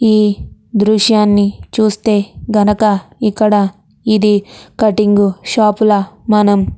ఈ దృశ్యాన్ని చూస్తే గనక ఇక్కడ ఇది కటింగ్ షాప్ ల మనము --